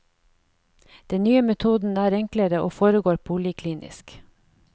Den nye metoden er enklere og foregår poliklinisk.